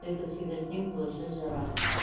до это всегда снег был а сейчас жара